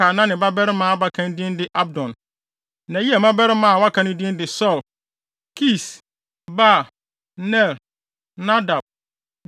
a na ne babarima abakan din de Abdon. Na Yeiel mmabarima a wɔaka no din de Sur, Kis, Baal, Ner, Nadab,